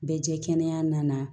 Bɛ jɛ kɛnɛya na